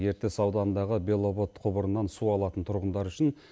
ертіс ауданындағы беловод құбырынан су алатын тұрғындар үшін